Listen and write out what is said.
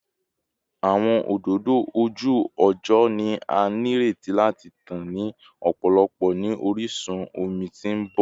Awọn ododo oju-ọjọ ni a nireti lati tan ni ọpọlọpọ ni orisun omi ti n bọ